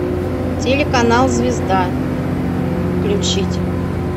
телеканал звезда включить